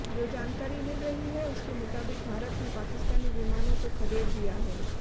जो जानकारी मिल रही है उसके मुताबिक भारत ने पाकिस्तानी विमानों को खदेड़ दिया है